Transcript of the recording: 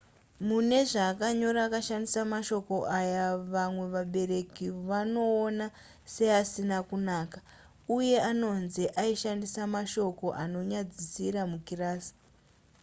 mune zvaakanyora akashandisa mashoko ayo vamwe vabereki vanoona seasina kunaka uye anonzi aishandisa mashoko anonyadzisira mukirasi